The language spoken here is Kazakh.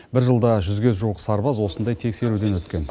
бір жылда жүзге жуық сарбаз осындай тексеруден өткен